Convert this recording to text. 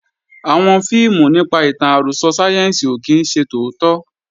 Àwọn fíìmù nípa ìtàn àròsọ sáyẹ́ǹsì ò kí ń ṣe tòótọ́